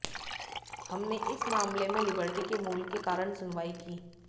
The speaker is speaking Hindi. हमने इस मामले में लिबर्टी के मूल के कारण सुनवाई की